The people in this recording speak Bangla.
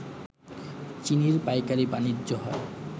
চিনির পাইকারি বাণিজ্য হয়